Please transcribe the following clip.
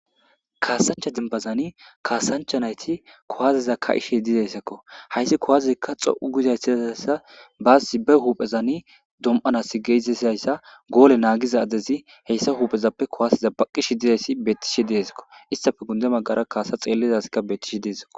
kaasancha dimbazani kaasancha nayti kowazeza ka7ishey dizayssakko hayssi kowazezekka xo7u gizayssiayssa baasi ba huphezani dom7anas geezisizayssa goole naagiza adezi heyssa huuphezappe kowaasiza baqqish dizayssi beettishe deesakko istafe gunde magara kaasa xeellizaskka betishi deesako